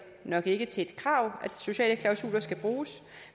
nok ikke til et krav at sociale klausuler skal bruges